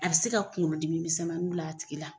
A bi se ka kuŋolo dimi misɛnmanin bil'a tigi la.